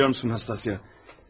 Bilirsən Nastasya?